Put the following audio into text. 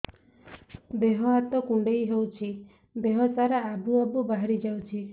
ଦିହ ହାତ କୁଣ୍ଡେଇ ହଉଛି ଦିହ ସାରା ଆବୁ ଆବୁ ବାହାରି ଯାଉଛି